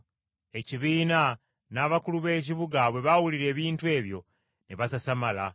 Ekibiina n’abakulu b’ekibuga bwe baawulira ebintu ebyo ne basasamala.